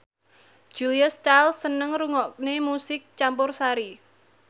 Julia Stiles seneng ngrungokne musik campursari